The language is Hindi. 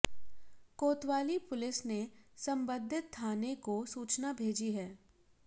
कोतवाली पुलिस ने संबंधित थाने को सूचना भेजी है